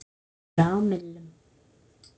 sumra á millum.